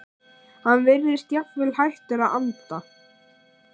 Hann virðist jafnvel hættur að anda.